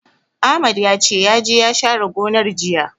Ahmad ya ce, ya je ya share gonar, jiya.